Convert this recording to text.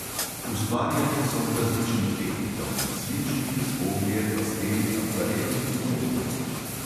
Ustvarjali so v različnih tehnikah – svinčnik, oglje, pastel, akvarel in olje.